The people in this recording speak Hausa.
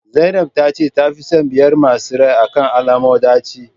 zainab tace ta fi son biyar masu rai akan alomo daci